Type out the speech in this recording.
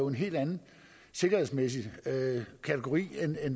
en helt anden sikkerhedsmæssig kategori end